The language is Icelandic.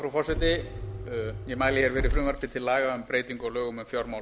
frú forseti ég mæli fyrir frumvarpi til laga um breytingu á lögum um fjármál